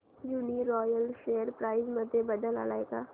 Uniroyal share price मध्ये बदल आलाय का